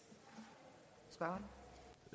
er